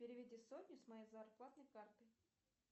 переведи сотню с моей зарплатной карты